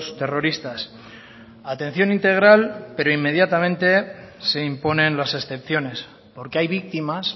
terroristas atención integral pero inmediatamente se imponen las excepciones porque hay víctimas